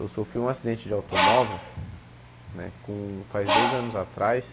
Eu sofri um acidente de automóvel né com faz dois anos atrás.